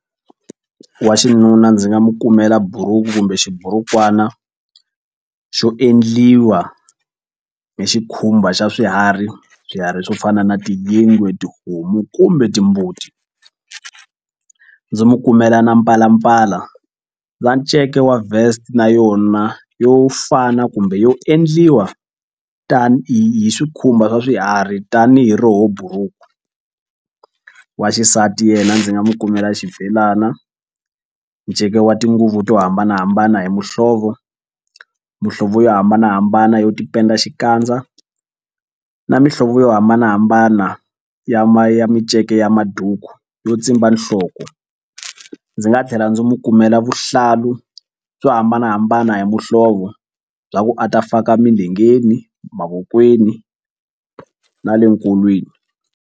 Wa xinuna ndzi nga mu kumela buruku kumbe xiburukwani xo endliwa hi xikhumba xa swiharhi swiharhi swo fana na tiyingwe tihomu kumbe timbuti ndzi mu kumela na mpalampala na nceka wa vest na yona yo fana kumbe yo endliwa tanihi hi swikhumba swa swiharhi tanihi roho buruku. Wa xisati yena ndzi nga mu kumela xibelana nceke wa tinguvu to hambanahambana hi muhlovo muhlovo yo hambanahambana yo tipenda xikandza na mihlovo yo hambanahambana ya ma ya minceke ya maduku yo tsimba nhloko. Ndzi nga tlhela ndzi mu kumela vuhlalu byo hambanahambana hi muhlovo bya ku a ta faka milengeni, mavokweni na le nkolweni.